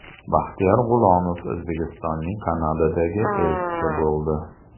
Baxtiyor G‘ulomov O‘zbekistonning Kanadadagi elchisi bo‘ldi.